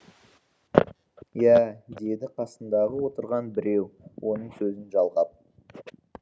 иә деді қасындағы отырған біреу оның сөзін жалғап